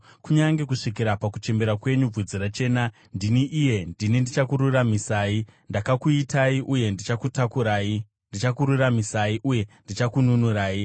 Kunyange kusvikira pakuchembera kwenyu, bvudzi rachena, ndini iye, ndini ndichakururamisai. Ndakakuitai uye ndichakutakurai; ndichakuraramisai uye ndichakununurai.